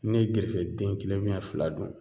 Ne ye gerefe den kelen fila don